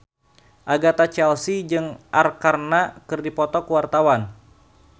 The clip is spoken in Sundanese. Agatha Chelsea jeung Arkarna keur dipoto ku wartawan